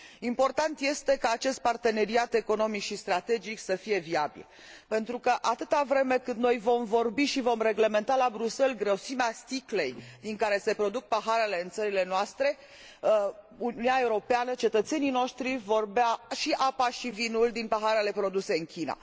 Important este ca acest parteneriat economic și strategic să fie viabil, pentru că, atâta vreme cât noi vom vorbi și vom reglementa la Bruxelles grosimea sticlei din care se produc paharele în țările noastre, ale Uniunii Europene, cetățenii noștri vor bea și apa și vinul din paharele produse în China.